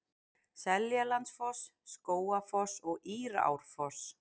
Seljalandsfoss, Skógafoss og Írárfoss.